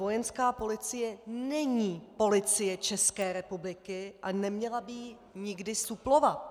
Vojenská policie není Policie České republiky a neměla by ji nikdy suplovat.